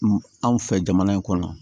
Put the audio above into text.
Anw fɛ jamana in kɔnɔ